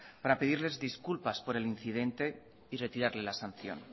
para pedirles disculpas por el incidente y retirarle la sanción